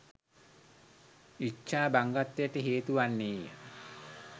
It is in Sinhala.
ඉච්ඡා භංගත්වයට හේතු වන්නේ ය